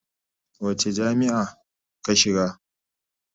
Wace jami'a ka shiga?